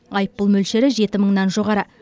айыппұл мөлшері жеті мыңнан жоғары